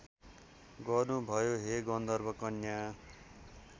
गर्नुभयो हे गन्धर्वकन्या